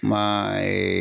Kuma